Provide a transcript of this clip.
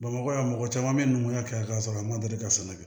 Bamakɔ yan mɔgɔ caman bɛ numu ya kɛ k'a sɔrɔ a ma deli ka sɛnɛ kɛ